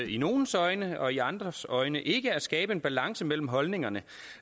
i nogles øjne og i andres øjne ikke at skabe balance mellem holdningerne